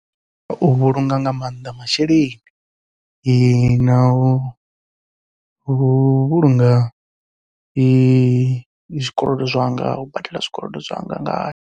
U vhulunga nga maanḓa masheleni, nau vhulunga zwikolodo zwanga u badela zwikolodo zwanga ngayo.